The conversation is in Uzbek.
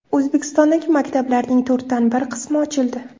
O‘zbekistondagi maktablarning to‘rtdan bir qismi ochildi.